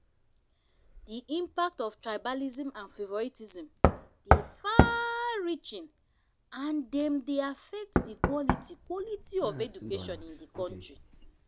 di impact of tribalism and favoritism dey far-reaching and dem dey affect di quality quality of education in di country.